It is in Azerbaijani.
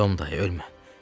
Tom, day ölmə!